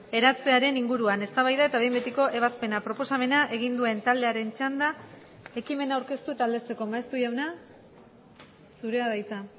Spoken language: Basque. eratzearen inguruan eztabaida eta behin betiko ebazpena proposamena egin duen taldearen txanda ekimena aurkeztu eta aldezteko maeztu jauna zurea da hitza